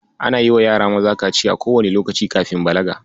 Ana yiwa yara maza kaciya kowanne lokaci kafin balaga.